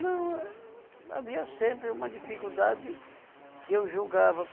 Não, eh havia sempre uma dificuldade que eu julgava.